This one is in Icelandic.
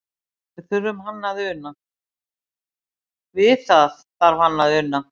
Við þarf hann að una.